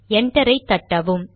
enter ஐ தட்டவும்